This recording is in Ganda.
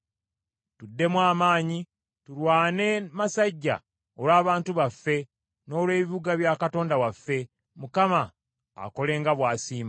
Tuddemu amaanyi tulwane masajja olw’abantu baffe, n’olw’ebibuga bya Katonda waffe. Mukama akole nga bw’asiima.”